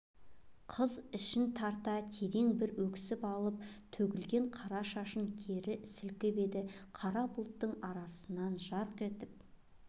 қыз ішін тарта терең бір өксіп алып төгілген қара шашын кері сілкіп еді қара бұлттың арасынан жарқ етіп